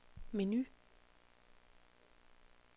menu